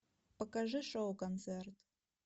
покажи шоу концерт